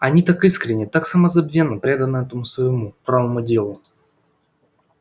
они так искренне так самозабвенно преданы этому своему правому делу